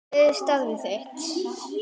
Hver er starf þitt?